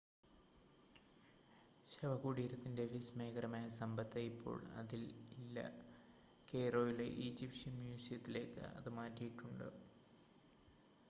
ശവകുടീരത്തിൻ്റെ വിസ്‌മയകരമായ സമ്പത്ത് ഇപ്പോൾ അതിൽ ഇല്ല കെയ്‌റോയിലെ ഈജിപ്ഷ്യൻ മ്യൂസിയത്തിലേക്ക് അത് മാറ്റിയിട്ടുണ്ട്